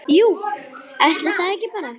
Jú, ætli það ekki bara!